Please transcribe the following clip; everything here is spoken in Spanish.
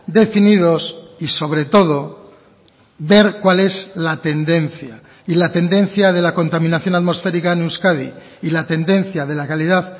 definidos y sobre todo ver cuál es la tendencia y la tendencia de la contaminación atmosférica en euskadi y la tendencia de la calidad